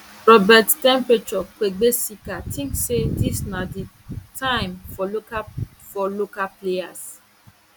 robert temperature kuegbesika tink say dis na di time for local for local players